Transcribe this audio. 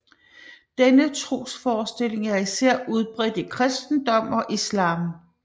Denne trosforestilling er især udbredt i kristendom og islam